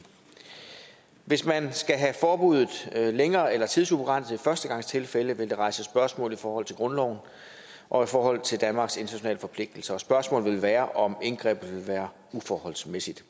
hvis man skal have forbuddet længere eller tidsubegrænset i førstegangstilfælde vil det rejse spørgsmål i forhold til grundloven og i forhold til danmarks internationale forpligtelser og spørgsmålet er om indgrebet vil være uforholdsmæssigt